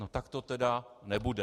no tak to tedy nebude.